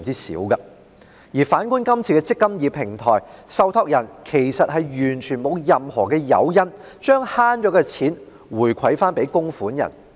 反觀《條例草案》建議設立的"積金易"平台，受託人其實完全沒有任何誘因將節省到的金錢回饋供款人。